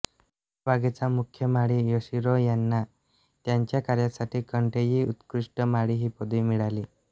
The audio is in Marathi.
या बागेचा मुख्य माळी योशिरो यांना त्यांच्या कार्यासाठी केन्टेई उत्कृष्ट माळी ही पदवी मिळाली